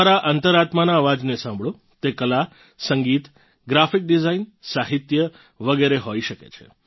તમારાં અંતરાત્માનાં અવાજને સાંભળો તે કલા સંગીત ગ્રાફિક ડિઝાઇન સાહિત્ય વગેરે હોઈ શકે છે